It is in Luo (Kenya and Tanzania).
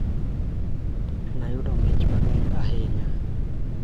Ne ayudo mich mang'eny ahinya